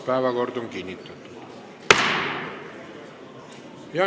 Päevakord on kinnitatud.